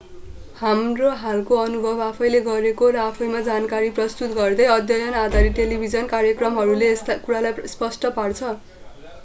हाम्रो हालको अनुभव आफैंले गरेको र आफैंमा जानकारी प्रस्तुत गर्दै अध्ययन-आधारित टेलिभिजन कार्यक्रमहरूले यस कुरालाई स्पष्ट पार्छ